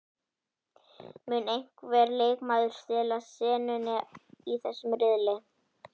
Mun einhver leikmaður stela senunni í þessum riðli?